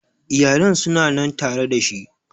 Iyalan su na nan tare da shi